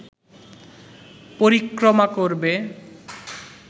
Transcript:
পরিক্রমা করবে